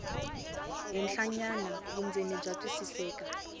henhlanyana vundzeni bya twisiseka